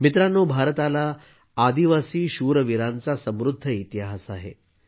मित्रांनो भारताला आदिवासी शूरवीरांचा समृद्ध इतिहास आहे